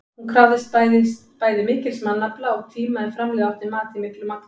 Hún krafðist bæði mikils mannafla og tíma ef framleiða átti mat í miklu magni.